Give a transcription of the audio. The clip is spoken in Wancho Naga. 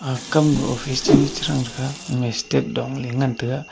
aga kam ko office cheri che thang taiga eme step dong ley ngan taiga.